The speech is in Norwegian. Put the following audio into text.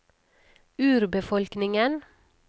urbefolkningen